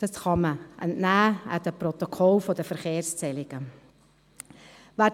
Dies kann man den Protokollen der Verkehrszählungen entnehmen.